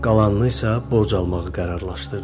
Qalanını isə borc almağı qərarlaşdırdı.